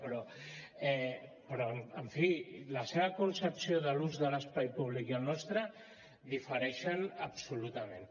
però en fi la seva concepció de l’ús de l’espai públic i la nostre difereixen absolutament